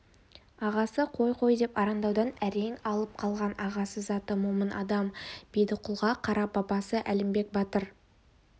ағасы қой-қой деп арандаудан әрең алып қалған ағасы заты момын адам бердіқұлға қарап бабасы әлімбек батыр